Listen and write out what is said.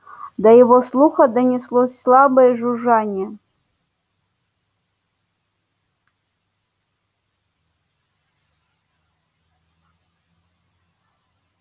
до его слуха донеслось слабое жужжание